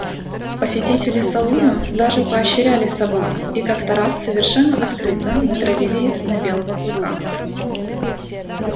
посетители салуна даже поощряли собак и как-то раз совершенно открыто натравили их на белого клыка